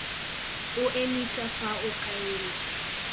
o emise fa o kaelwa